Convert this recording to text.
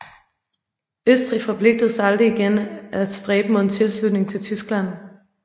Østrig forpligtede sig til aldrig igen af stræbe mod en tilslutning til Tyskland